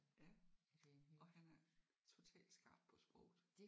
Ja og han er total skarp på sproget